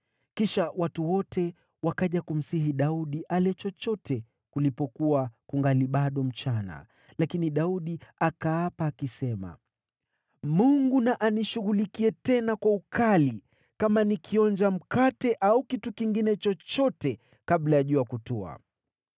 Kisha watu wote wakaja kumsihi Daudi ale chochote kulipokuwa kungali bado mchana; lakini Daudi akaapa, akisema, “Mungu na anishughulikie, tena kwa ukali, kama nikionja mkate au kitu kingine chochote kabla ya jua kutua!”